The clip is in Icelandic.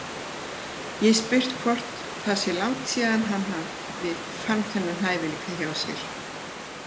Ég spyr hann hvort það sé langt síðan hann fann þennan hæfileika hjá sér.